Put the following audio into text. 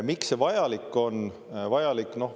Miks see vajalik on?